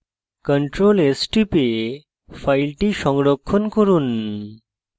ctrl s টিপে file সংরক্ষণ করুন